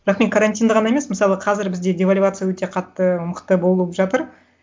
бірақ мен карантинді ғана емес мысалы қазір бізде девальвация өте қатты мықты болып жатыр